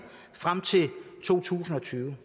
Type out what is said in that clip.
frem til to tusind og tyve